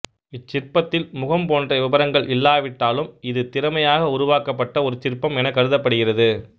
இச்சிற்பத்தில் முகம் போன்ற விபரங்கள் இல்லாவிட்டாலும் இது திறமையாக உருவாக்கப்பட்ட ஒரு சிற்பம் எனக் கருதப்படுகிறது